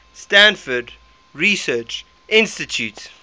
stanford research institute